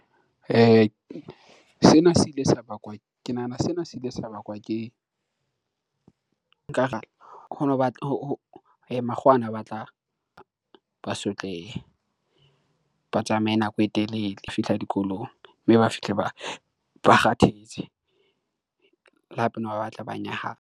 Ke nahana sena se ile sa bakwa ke, nkare makgowa ana a batla ba sotlehe, ba tsamaye nako e telele ho fihla dikolong mme ba fihle ba kgathetse le hape ne ba batla ba nyahama.